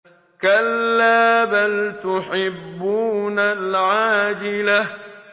كَلَّا بَلْ تُحِبُّونَ الْعَاجِلَةَ